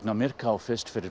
á Myrká fyrst fyrir